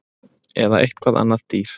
Eða eitthvað annað dýr